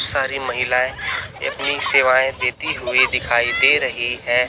सारी महिलाएं इतनी सेवाएं देती हुई दिखाई दे रही है।